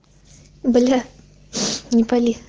бля не пали